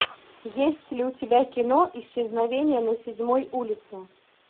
есть ли у тебя кино исчезновение на седьмой улице